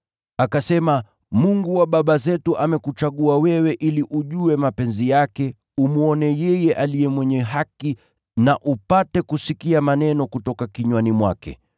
“Akasema, ‘Mungu wa baba zetu amekuchagua wewe ili ujue mapenzi yake, umwone yeye Aliye Mwenye Haki na upate kusikia maneno kutoka kinywani mwake.